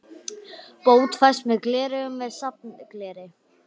Bót fæst með gleraugum með safngleri.